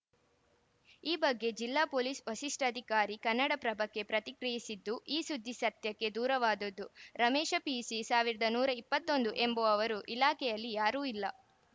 ಈ ಬಗ್ಗೆ ಜಿಲ್ಲಾ ಪೊಲೀಸ್‌ ವಸಿಷ್ಠಾಧಿಕಾರಿ ಕನ್ನಡಪ್ರಭಕ್ಕೆ ಪತ್ರಿಕ್ರಿಯಿಸಿದ್ದು ಈ ಸುದ್ದಿ ಸತ್ಯಕ್ಕೆ ದೂರವಾದುದು ರಮೇಶ ಪಿಸಿ ಸಾವಿರದ ನೂರ ಇಪ್ಪತ್ತ್ ಒಂದು ಎಂಬುವವರು ಇಲಾಖೆಯಲ್ಲಿ ಯಾರೂ ಇಲ್ಲ